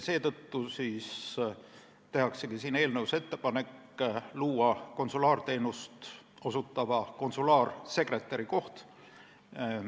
Seetõttu tehaksegi eelnõus ettepanek luua konsulaarteenust osutava konsulaarsekretäri koht.